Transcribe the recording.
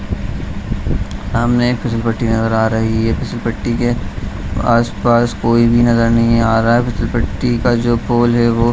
सामने फिसलपट्टी नजर आ रहा है फिसलपट्टी के आस-पास कोई भी नजर नहीं आ रहा फिसलपट्टी का जो पोल है वो --